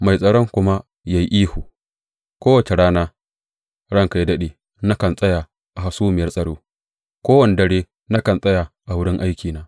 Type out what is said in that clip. Mai tsaron kuma ya yi ihu, Kowace rana, ranka yă daɗe, nakan tsaya a hasumiyar tsaro; kowane dare nakan tsaya a wurin aikina.